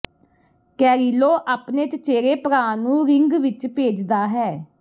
Carrillo ਆਪਣੇ ਚਚੇਰੇ ਭਰਾ ਨੂੰ ਰਿੰਗ ਵਿਚ ਭੇਜਦਾ ਹੈ